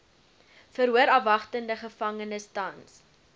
verhoorafwagtende gevangenes tans